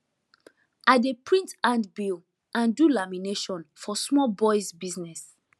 i dey print handbill and do lamination for small boys business